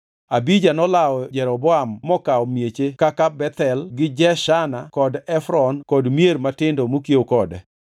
Abija nolawo Jeroboam mokawo mieche kaka Bethel gi Jeshana kod Efron kod mier matindo mokiewo kode.